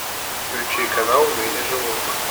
включи канал в мире животных